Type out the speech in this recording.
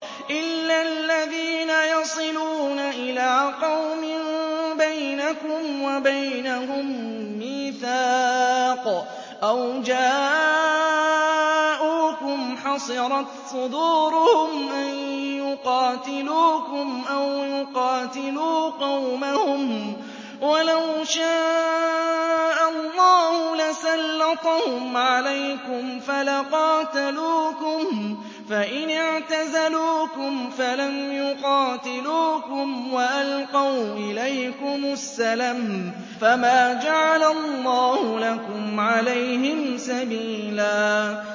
إِلَّا الَّذِينَ يَصِلُونَ إِلَىٰ قَوْمٍ بَيْنَكُمْ وَبَيْنَهُم مِّيثَاقٌ أَوْ جَاءُوكُمْ حَصِرَتْ صُدُورُهُمْ أَن يُقَاتِلُوكُمْ أَوْ يُقَاتِلُوا قَوْمَهُمْ ۚ وَلَوْ شَاءَ اللَّهُ لَسَلَّطَهُمْ عَلَيْكُمْ فَلَقَاتَلُوكُمْ ۚ فَإِنِ اعْتَزَلُوكُمْ فَلَمْ يُقَاتِلُوكُمْ وَأَلْقَوْا إِلَيْكُمُ السَّلَمَ فَمَا جَعَلَ اللَّهُ لَكُمْ عَلَيْهِمْ سَبِيلًا